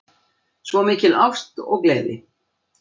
Svo mikil ást og gleði